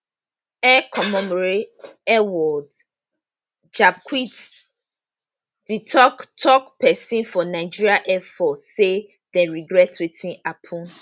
air commodore edward gabkwet di tok tok pesin for nigeria airforce say dem regret wetin happun